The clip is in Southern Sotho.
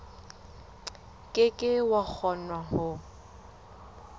ke ke wa kgona ho